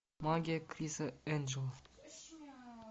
магия криса энджела